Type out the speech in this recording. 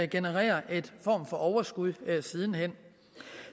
generere en form for overskud siden hen